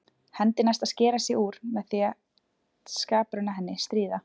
Hendi næst að skera sig úr með því að skaprauna henni, stríða.